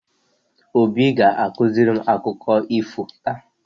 Obi ga-akụziri m akụkọ ifo taa.